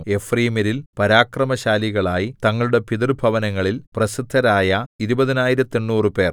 എഫ്രയീമ്യരിൽ പരാക്രമശാലികളായി തങ്ങളുടെ പിതൃഭവനങ്ങളിൽ പ്രസിദ്ധരായ ഇരുപതിനായിരത്തെണ്ണൂറുപേർ 20 800